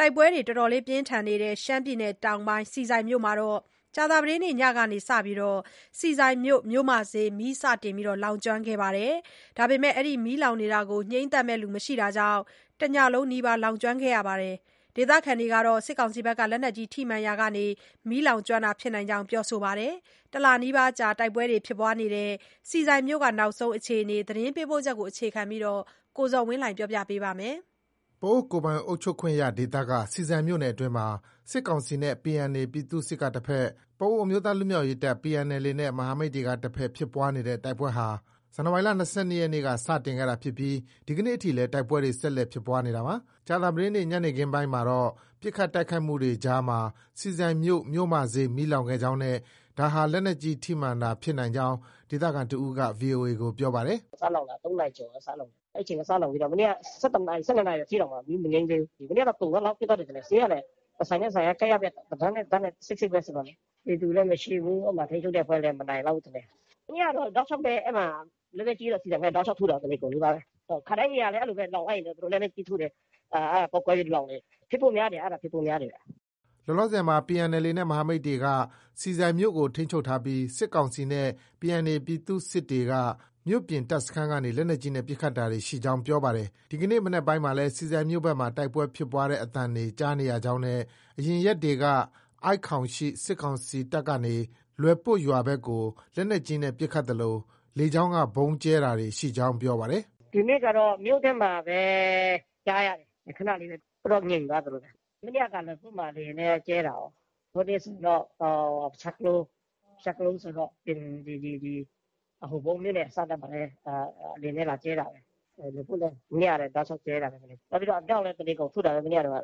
တိုက်ပွဲတွေဆက်လက်ဖြစ်ပွားနေတဲ့ ရှမ်းပြည်နယ်တောင်ပိုင်း ဆီဆိုင်မြို့မှာ ကြာသပတေးနေ့ ညနေပိုင်းကနေ စတင်ပြီး ဆီဆိုင်မြို့ မြို့မဈေး မီးစတင်လောင်ကျွမ်းခဲ့ပါတယ်။ ငြိမ်းသတ်မယ့်သူမရှိတာကြောင့် တညလုံးနီးပါး လောင်ကျွမ်းခဲ့ပါတယ်။ ဒေသခံတွေကတော့ လက်နက်ကြီး ထိမှန်ရာကနေ မီးလောင်ကျွမ်းတာ ဖြစ်နိုင်ကြောင်း ပြောဆိုပါတယ်။ တလနီးပါးကြာ တိုက်ပွဲတွေ ဖြစ်ပွားနေတဲ့ ဆီဆိုင်မြို့ရဲ့ နောက်ဆုံးအခြေအနေ သတင်းပေးပို့ချက်ကို အခြေခံပြီး ကိုဇော်ဝင်းလှိုင် က တင်ပြပေးထားပါတယ်။ ပအိုဝ်း ကိုယ်ပိုင်အုပ်ချုပ်ခွင့်ရဒေသက ဆီဆိုင်မြို့နယ်အတွင်းမှာ စစ်ကောင်စီနဲ့ PNA ပြည်သူ့စစ်က တဘက်၊ ပအိုင်း အမျိုးသားလွတ်မြောက်ရေးတပ် PNLA နဲ့ မဟာမိတ်တွေကတဘက် ဖြစ်ပွားနေတဲ့ တိုက်ပွဲဟာ ဇန်နဝါရီလ ၂၂ရက်က စတင်ခဲ့တာဖြစ်ပြီး ဒီကနေ့အထိလည်း တိုက်ပွဲတွေ ဆက်လက်ဖြစ်ပွားနေတာပါ။ ကြာသပတေးနေ့ ညနေခင်းပိုင်းမှာတော့ ပစ်ခတ်တိုက်ခိုက်မှုတွေအကြားမှာ ဆီဆိုင်မြို့ မြို့မဈေး မီးလောင်ခဲ့ကြောင်းနဲ့ ဒါဟာ လက်နက်ကြီး ထိမှန်တာဖြစ်နိုင်ကြောင်း ဒေသခံတဦးက VOA ကို ပြောပါတယ်။ “ စလောင်တာ ၃နာရီကျော်က စလောင်တာ။ အဲဒီအချိန်က စလောင်ပြီးတော့ ၁၁နာရီ၊ ၁၂နာရီကျော်ထိ မီးမငြိမ်းသေးဘူး။ မနေ့ကတော့ ကုန်သလောက်ဖြစ်သွားတယ်ထင်တယ်။ ဈေးကလည်း တဆိုင်နဲ့တဆိုင်က ကပ်လျက်ပဲ၊ တတန်းနဲ့ တတန်းလည်း စိပ်စိပ်ပဲ ဆိုတော့လေ။ ပြည်သူလည်း မရှိဘူး။ အဲဒီမှာ ထိန်းချုပ်တဲ့အဖွဲ့လည်း မနိုင်လောက်ဖူးထင်တယ်။ မနေ့ကတော့ တောက်လျောက်ပဲ ။ လက်နက်ကြီးတော့ ဆီဆိုင်ဘက် တောက်လျောက် ထုတာ တနေကုန်နီးပါးပဲ။ ခါတိုင်းနေရာလည်း အဲလိုပဲ လောင်လိုက်ရင်တော့ သူတို့ လက်နက်ကြီး ထုတယ်။ အဲဒါပေါက်ကွဲပြီး လောင်တယ်။ အဲဒါ ဖြစ်ဖို့များတယ်။” လောလောဆည်မှာ PNLA နဲ့ မဟာမိတ်တွေက ဆီဆိုင်မြို့ကို ထိန်းချုပ်ထားပြီး စစ်ကောင်စီနဲ့ PNA ပြည်သူ့စစ်တွေက မြို့ပြင် တပ်စခန်းကနေ လက်နက်ကြီးနဲ့ ပစ်ခတ်တာတွေ ရှိကြောင်း ပြောပါတယ်။ ဒီကနေ့ မနက်ပိုင်းမှာလည်း ဆီဆိုင်မြို့ဘက်မှာ တိုက်ပွဲဖြစ်ပွားတဲ့ အသံတွေ ကြားနေရကြောင်းနဲ့ အရင်ရက်တွေကတော့ ဆိုက်ခေါင် ရှိ စစ်ကောင်စီတပ်ကနေ လွယ်ပွတ် ရွာဘက်ကို လက်နက်ကြီးနဲ့ ပစ်ခတ်သလို လေကြောင်းက ဗုံးကြဲတာတွေ ရှိကြောင်း ပြောပါတယ်။ “ ဒီနေ့ကတော့ မြို့ထဲမှာပဲ ကြားရတယ်။ ခဏလေးပဲ။ အခုတော့ ငြိမ်သွားသလိုပဲ။ မနေ့က လွယ်ပွတ်မှာ လေယာဉ်နဲ့ ကြဲတာကော။ ဟိုနေ့ဆိုတော့ ပဆျားကလိုး၊ ပဆျားကလိုးဆိုတော့ ဒီ ဟိုပုန်းမြို့နယ်အစပ်ဘက်မှာလည်း လေယာဉ်နဲ့ လာကြဲတာပဲ။ လွယ်ပွတ်လည်း မနေ့ကလည်း တောက်လျောက် ကြဲတာပဲ။ နောက်ပြီး အမြောက်လည်း တနေကုန်ထုတာပဲ မနေ့ကတုံးက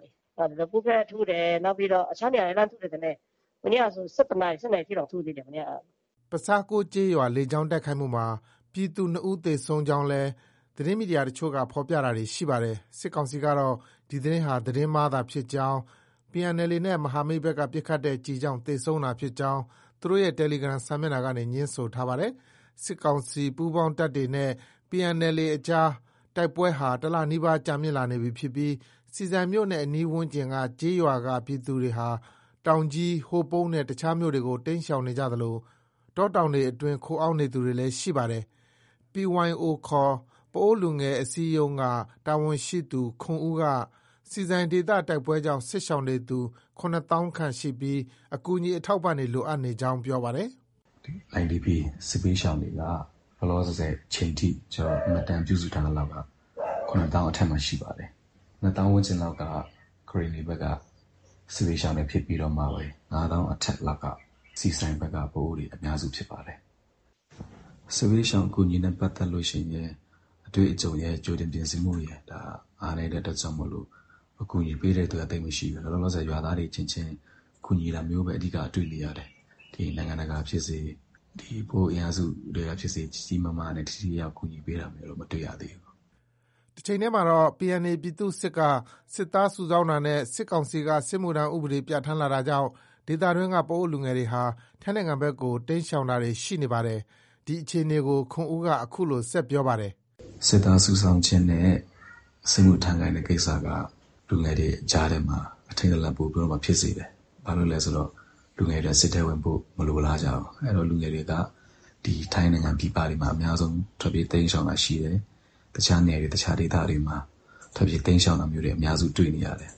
။ လွယ်ပွတ်ဘက် ထုတ်တယ်။ နောက်ပြီးတော့ အခြားနေရာတွေ လှမ်းထုတယ်ထင်တယ်။ မနေ့ကဆို ၁၁နာရီ။ ၁၂နာရီ ထိတောင် ထုသေးတယ်။ မနေ့က။ ” ပဆျားကိုး ကျေးရွာ လေကြောင်းတိုက်ခိုက်မှုမှာ ပြည်သူ ၂ဦသေဆုံးကြောင်းလည်း သတင်းမီဒီယာအချို့က ဖော်ပြတာတွေ ရှိနေပါတယ်။ စစ်ကောင်စီကတော့ ဒီသတင်းဟာ သတင်းမှားသာဖြစ်ကြောင်း PNLA နဲ့ မဟာမိတ်ဘက်က ပစ်ခတ်တဲ့ ကျည်ကြောင့် သေဆုံးတာဖြစ်ကြောင်း သူတို့ရဲ့ တယ်လီဂရမ်စာမျက်နှာကနေ ငြင်းဆိုထားပါတယ်။ စစ်ကောင်စီပူးပေါင်းတပ်တွေနဲ့ PNLA အကြား တိုက်ပွဲဟာ တလနီးပါး ကြာမြင့်လာနေပြီး ဆီဆိုင်မြို့နဲ့ အနီးဝန်းကျင်က ကျေးရွာက ပြည်သူတွေဟာ တောင်ကြီး၊ ဟိုပုန်းနဲ့ အခြားမြို့တွေကို တိမ်းရှောင်နေကြသလို တောတောင်တွေအတွင်း ခိုအောင်းနေသူတွေလည်း ရှိနေပါတယ်။ PYO ခေါ် ပအိုဝ်းလူငယ်အစည်းအရုံးက တာဝန်ရှိသူ ခွန်ဦး က ဆီဆိုင်ဒေသ တိုက်ပွဲကြောင့် စစ်ရှောင်နေသူ ၇သောင်းခန့်ရှိပြီး အကူအညီ အထောက်အပံတွေ လိုအပ်နေကြောင်းပြောပါတယ်။ “ IDP စစ်ဘေးရှောင်တွေက လောလောဆည်အချိန်ထိ မှတ်တမ်းပြုစုထားသလောက်က ၇သောင်းအထက်မှာ ရှိပါတယ်။ ၂သောင်းဝန်းကျင်လောက်က ကရင်နီဘက်က စစ်ဘေးရှောင်တွေ ဖြစ်ပြီးတော့မှပဲ ၅သောင်းအထက်က ဆီဆိုင်ဘက်က ပအိုဝ်းတွေအများစုဖြစ်ပါတယ်။ စစ်ဘေးရှောင်အကူအညီနဲ့ပတ်သက်ရင် အတွေ့အကြုံရယ် ကြိုတင်ပြင်ဆင်မှုရယ် အားနည်းတဲ့အတွက်ကြောင့်မို့ အကူအညီပေးတဲ့သူက သိပ်မရှိဘူး။ လောလောဆည် ရွာသားတွေအချင်းချင်း ကူညီတာမျိုးပဲ အဓိက တွေ့နေရတယ်။ နိုင်ငံတကာဖြစ်စေ၊ ပအိုဝ်းအင်အားစုထဲကဖြစ်စေ ကြီးကြီးမားမားနဲ့ ထိထိရောက်ရောက်ကူညီပေးတာမျိုးတော့ မတွေ့ ရသေးဘူး။” တချိန်တည်းမှာတော့ PNA ပြည်သူ့စစ်က စစ်သားစုဆောင်းတာနဲ့ စစ်ကောင်စီက စစ်မှုထမ်းဥပဒေ ပြဌာန်းလာတာကြောင့် ဒေသတွင်းက ပအိုဝ်းလူငယ်တွေဟာ ထိုင်းနိုင်ငံဘက်ကို တိမ်းရှောင်တာတွေ ရှိနေပါတယ်။ ဒီအခြေအနေကို ခွန်ဦး က အခုလို ဆက်ပြောပါတယ်။ “ စစ်သားစုဆောင်းခြင်းနဲ့ စစ်မှုထမ်းခိုင်းခြင်းကိစ္စက လူငယ်တွေကြားထဲမှာ အထိတ်တလန့် ပိုပြီးတော့မှ ဖြစ်စေတယ်။ ဘာဖြစ်လို့လဲဆိုတော့ လူငယ်တွေက စစ်ထဲဝင်ဖို့ မလိုလားကြဘူး။ အဲတော့ လူငယ်တွေက ဒီထိုင်းနိုင်ငံပြည်ပတွေမှာ အများဆုံး ထွက်ပြေး တိမ်းရှောင်တာ ရှိတယ်။ တခြားနယ်တွေ တခြားဒေသတွေမှာ ထွက်ပြေးတိမ်းရှောင်တာမျိုးတွေ အများစု တွေ့ နေရတယ်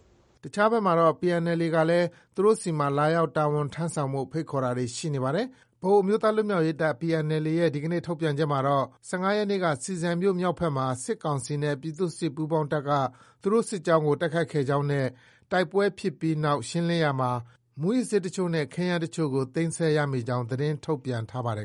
။ ” တခြားတဘက်မှာတော့ PNLA ကလည်း သူတို့ဆီမှာ လာရောက်တာဝန်ထမ်းဆောင်ဖို့ ဖိတ်ခေါ်တာတွေ ရှိနေပါတယ်။ ပအိုဝ်း အမျိုးသားလွတ်မြောက်ရေးတပ် PNLA ရဲ့ ဒီနေ့ ထုတ်ပြန်ချက်မှာတော့ ၁၅ရက်နေ့က ဆီဆိုင်မြို့မြောက်ဘက်မှာ စစ်ကောင်စီနဲ့ ပြည်သူ့စစ် ပူးပေါင်းတပ်က သူတို့ စစ်ကြောင်းကို တိုက်ခိုက်ခဲ့ကြောင်းနဲ့ တိုက်ပွဲဖြစ်ပြီးနောက် ရှင်းလင်းရာမှာ မူးယစ်ဆေးအချို့နဲ့ ခဲယမ်းအချို့ သိမ်းဆည်းရမိကြောင်း သတင်းထုတ်ပြန်ထားပါတယ်